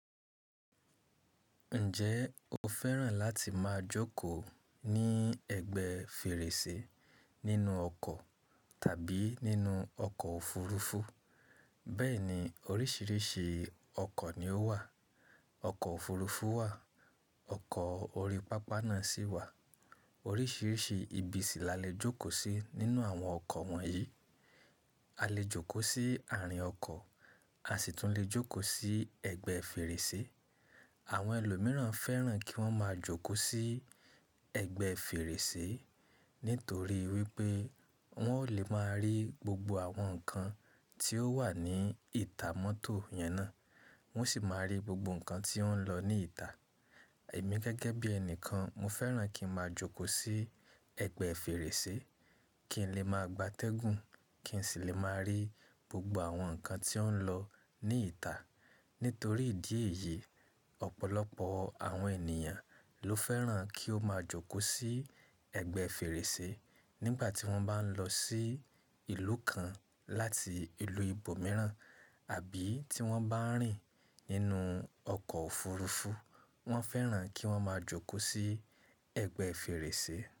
Ǹjẹ́ o fẹ́ràn láti máa jókòó ní ẹ̀gbẹ́ fèrèsé nínú ọkọ̀ tàbí nínú ọkọ̀ òfurufú? Bẹ́ẹ̀ni oríṣiríṣi ọkọ̀ ni ó wà. Ọkọ̀ òfurufú wà, ọkọ̀ orí pápá náà sì wà. Oríṣiríṣi ibi sì là lè jókòó sí nínú àwọn ọkọ̀ wọ̀nyí. A lè jókòó sí àárín ọkọ̀, a sì tún lè jókòó sí ẹ̀gbẹ́ fèrèsé. Àwọn ẹlòmíràn fẹ́ràn kí wọ́n máa jókòó sí ẹ̀gbẹ́ fèrèsé nítorí wípé wọn ò lè máa rí gbogbo àwọn nǹkan tí ó wà ní ìta mọ́tò yẹn ná. Wọn sì máa rí gbogbo nǹkan tí ó ń lọ ní ìta. Èmi gẹ́gẹ́ bí ẹnikan, mo fẹ́ràn kí ń máa jókòó sí ẹ̀gbẹ́ fèrèsé kí n lè máa gbàtẹ́gùn, kí n sì lè máa rí gbogbo àwọn nǹkan tí ó ń lọ ní ìta. Nítorí ìdí èyí, ọ̀pọ̀lọpọ̀ àwọn ènìyàn ló fẹ́ràn kí ó máa jókòó sí ẹ̀gbẹ́ fèrèsé nígbà tí wọ́n bá ń lọ sí ìlú kan láti ìlú ibòmíràn àbí tí wọ́n bá ń rìn nínú ọkọ̀ òfurufú, wọ́n fẹ́ràn kí wọ́n máa jókòó sí ẹ̀gbẹ́ fèrèsé.